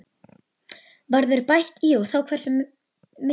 Verður bætt í og þá hversu miklu?